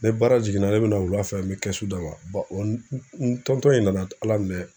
Ni baara jiginna ne bɛ na wula fɛ n bɛ kɛsu d'a ma. n n in nana Ala minɛ